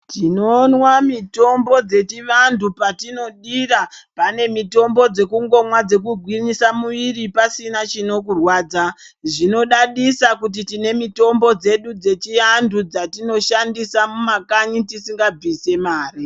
Tinomwa mitombo dzechivantu patinodira pane mitombo dzekungomwa dzekugwinyisa muviri pasina chinokurwadza. Zvinodadisa kuti tine mitombo dzedu dzechiantu dzatinoshandisa mumakanyi tisingabvise mare.